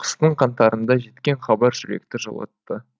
қыстың қаңтарында жеткен хабар жүректі жылытты